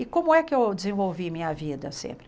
E como é que eu desenvolvi minha vida sempre?